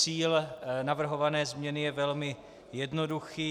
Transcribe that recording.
Cíl navrhované změny je velmi jednoduchý.